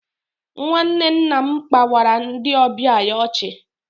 Nwanne nna m kpawara ndị ọbịa ya ọchị